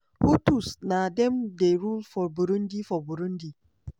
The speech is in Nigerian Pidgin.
hutus na dem dey rule for burundi. for burundi.